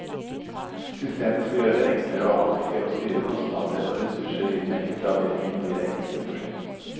Systemet skal gjøre det enklere å avdekke og styre kostnader og ressurser i den enkelte avdeling og i det enkelte prosjekt.